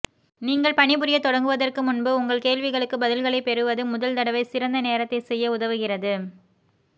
நீங்கள் பணிபுரியத் தொடங்குவதற்கு முன்பு உங்கள் கேள்விகளுக்கு பதில்களைப் பெறுவது முதல் தடவை சிறந்த நேரத்தைச் செய்ய உதவுகிறது